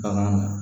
Bagan